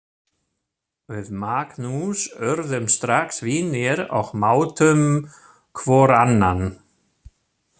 Við Magnús urðum strax vinir og mátum hvor annan.